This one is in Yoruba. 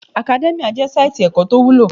Academia jẹ́ sáìtì ẹ̀kọ́ tó wúlò